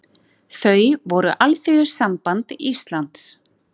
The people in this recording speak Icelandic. Þau voru Alþýðusamband Íslands